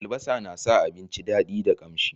albasa na sa abinci dadi da kamshi